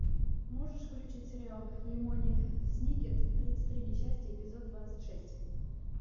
можешь включить сериал лемони сникет тридцать три несчастья эпизод двадцать шесть